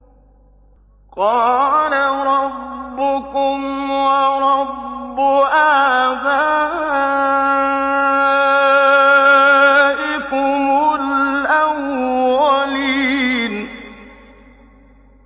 قَالَ رَبُّكُمْ وَرَبُّ آبَائِكُمُ الْأَوَّلِينَ